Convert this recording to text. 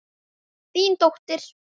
Þín dóttir.